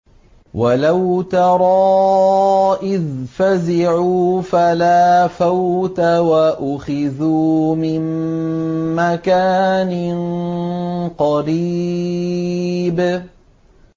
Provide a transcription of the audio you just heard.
وَلَوْ تَرَىٰ إِذْ فَزِعُوا فَلَا فَوْتَ وَأُخِذُوا مِن مَّكَانٍ قَرِيبٍ